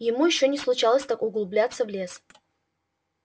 ему ещё не случалось так углубляться в лес